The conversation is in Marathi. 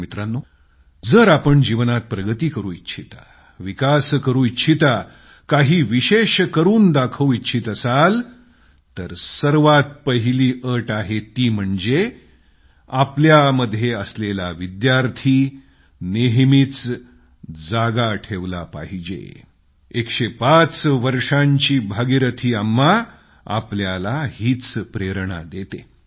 मित्रांनो जर आपण जीवनात प्रगती करू इच्छिता विकास करू इच्छिता काही विशेष करून दाखवू इच्छित असाल तर सर्वात पहिली अट आहे ती म्हणजे आमच्यामध्ये असलेला विद्यार्थी कधीच मारून टाकता कामा नये